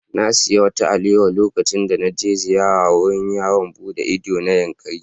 Na sayi wata alewa lokacin da na je ziyara wurin yawon buɗe ido na Yankari.